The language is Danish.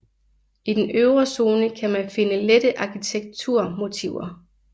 I den øvre zone kan man finde lette arkitekturmotiver